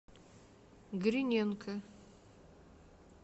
гриненко